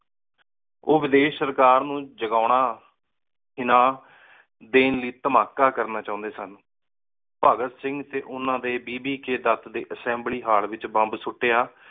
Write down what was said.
ਓਹ ਵਿਦੇਸ਼ ਸਰਕਾਰ ਨੂੰ ਜਗੋਣਾ ਦੇਣ ਲਯੀ ਧਮਾਕਾ ਕਰਨਾ ਚਾਉਂਦੇ ਸਨ। ਭਗਤ ਸਿੰਘ ਤੇ ਓਹਨਾ ਦੇ ਅਸ੍ਸੇਮ੍ਬ੍ਲੀ ਹਾਲ ਏਚ ਬੋਮ੍ਬ ਸੁਟਿਆ